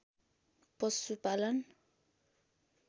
पशुपालन